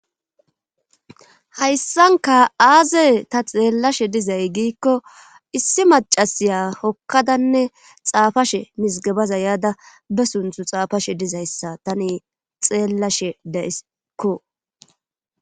hayssanka aaze ta xeellashe dizay giikko issi macasiya hokkadanne xaafashe misgabaza yaada be sunthu xaafashe dizayssa tani xeellashe de'ayisikko